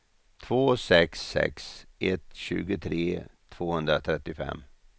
två sex sex ett tjugotre tvåhundratrettiofem